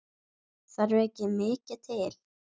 Það þarf ekki mikið til?